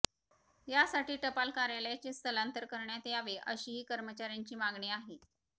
यासाठी टपाल कार्यालयाचे स्थलांतर करण्यात यावे अशीही कर्मचार्यांची मागणी आहे